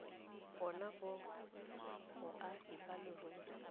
bona ba boagi ba leruri